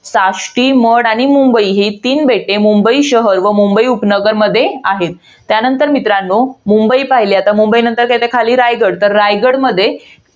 साष्टी, मड आणि मुंबई ही तीन बेटे मुंबई शहर व मुंबई उपनगरमध्ये आहेत. त्यानंतर मित्रांनो. मुंबई पहिली आता मुंबई नंतर काय येते खाली? रायगड. तर रायगडमध्ये